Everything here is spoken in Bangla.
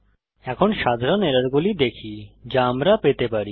এখন সাধারণ এররগুলি দেখি যা আমরা পেতে পারি